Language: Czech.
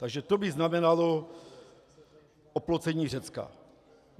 Takže to by znamenalo oplocení Řecka.